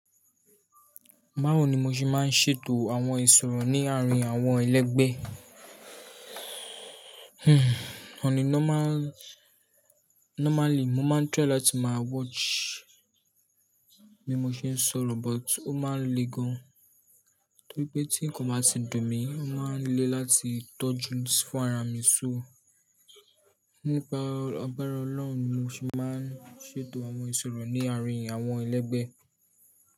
Bawò ni mo ṣe máa ń ṣètò àwọn ìṣòro ní àárín àwọn ẹlẹgbẹ́. Hhm. Òn a normal -normally, mo máa ń try láti máa watch bí mo ṣe ń sọ̀rọ̀ but ó máa n le gan. Torí pé tí n kò bá tíń dùn mí, ó máa ń le láti tọ́jú sí fún ara mi só. Nípa agbàra Ọlọ́run ni mo ṣe máa ń ṣètò àwọn ìṣòro ní àárín àwọn ẹlẹgbẹ́.